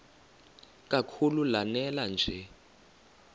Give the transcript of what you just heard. kakhulu lanela nje